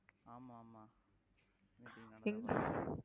ஆமா ஆமா